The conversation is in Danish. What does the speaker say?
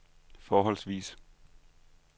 forholdsvis